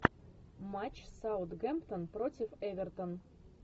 матч саутгемптон против эвертон